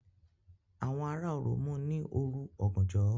Àwọn ará Orò mú ní òru ọ̀gànjọ́